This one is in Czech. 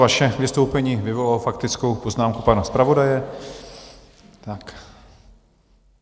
Vaše vystoupení vyvolalo faktickou poznámku pana zpravodaje.